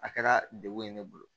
A kɛra degun ye ne bolo